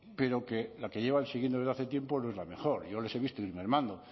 pero que la que llevan siguiendo desde hace tiempo no es la mejor yo les he visto ir mermando